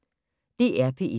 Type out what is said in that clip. DR P1